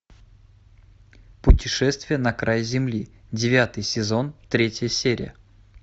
путешествие на край земли девятый сезон третья серия